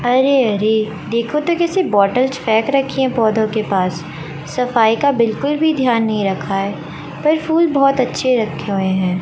अरे अरे देखो तो कैसे बॉटल्स फेंक रखी है पौधों के पास सफाई का बिल्कुल भी ध्यान नहीं रखा है पर फूल बहोत अच्छे रखे हुए हैं।